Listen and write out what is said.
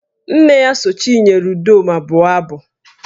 Nne ya so Chinyere Udoma bụọ abụ